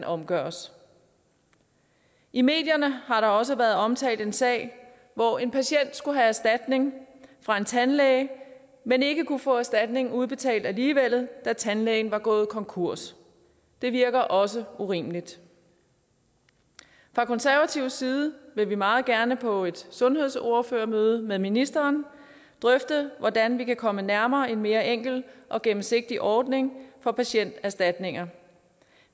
omgøres i medierne har der også været omtalt en sag hvor en patient skulle have erstatning fra en tandlæge men ikke kunne få erstatningen udbetalt alligevel da tandlægen var gået konkurs det virker også urimeligt fra konservativ side vil vi meget gerne på et sundhedsordførermøde med ministeren drøfte hvordan vi kan komme nærmere en mere enkel og gennemsigtig ordning for patienterstatninger